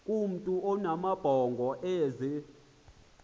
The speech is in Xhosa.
kumntu onamabhongo ozee